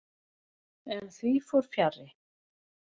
En því fór fjarri.